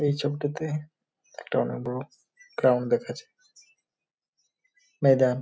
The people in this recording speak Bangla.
এই ছবিটাতে একটা অনেক বড়ো গ্রাউন্ড দেখাছে ময়দান ।